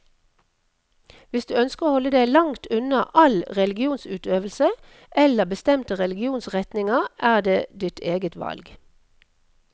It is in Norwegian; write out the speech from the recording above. Hvis du ønsker å holde deg langt unna all religionsutøvelse, eller bestemte religionsretninger, er det ditt eget valg.